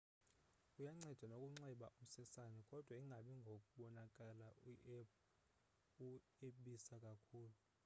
kuyanceda nokunxiba umsesane kodwa ingabi ngobonakala ueabisa kakhulu